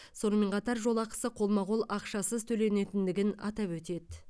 сонымен қатар жол ақысы қолма қол ақшасыз төленетіндігін атап өтеді